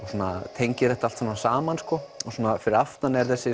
tengir þetta allt saman saman fyrir aftan er þessi